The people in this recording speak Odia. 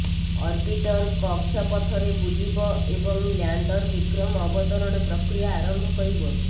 ଅର୍ବିଟର କକ୍ଷପଥରେ ବୁଲିବ ଏବଂ ଲ୍ୟାଣ୍ଡର ବିକ୍ରମ ଅବତରଣ ପ୍ରକ୍ରିୟା ଆରମ୍ଭ କରିବ